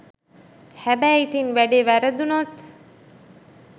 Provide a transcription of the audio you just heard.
හැබයි ඉතින් වැඩෙ වැරදුනොත්